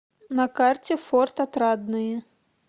на карте форт отрадное